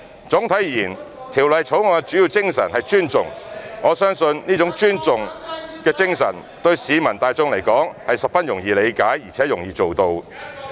總體而言，《條例草案》的主要精神是尊重，我相信這種尊重精神對市民大眾而言是十分容易理解，而且容易做到的。